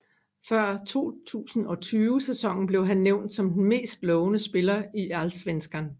Før 2020 sæsonen blev han nævnt som den mest lovende spiller i Allsvenskan